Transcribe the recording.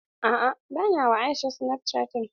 A'a bana wa Aisha snapchatting.